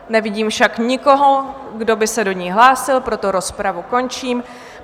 Nevidím však nikoho, kdo by se do ní hlásil, proto rozpravu končím.